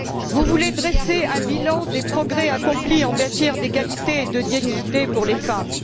Vous voulez dresser un bilan des progrès accomplis en matière d'égalité et de dignité pour les femmes.